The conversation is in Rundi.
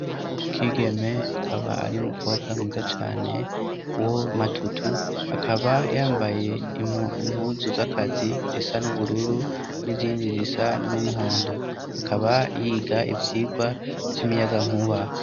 Ukigeme kaba ari umukobwa mwiza cane wo matutu akaba yambaye impuzu z'akazi zisa n'ubururu n'iyindi zisa n'umuhondo akaba yiga ivyirwa vy'imiyaga nkuba.